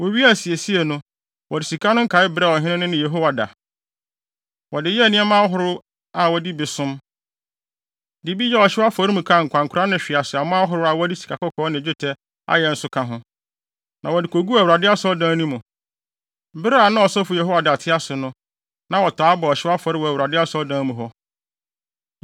Wowiee asiesie no, wɔde sika no nkae brɛɛ ɔhene no ne Yehoiada. Wɔde yɛɛ nneɛma ahorow a wɔde bi som, de bi bɔ ɔhyew afɔre a nkwankora ne hweaseammɔ ahorow a wɔde sikakɔkɔɔ ne dwetɛ ayɛ nso ka ho. Na wɔde koguu Awurade asɔredan no mu. Bere a na ɔsɔfo Yehoiada te ase no, na wɔtaa bɔ ɔhyew afɔre wɔ Awurade Asɔredan mu hɔ.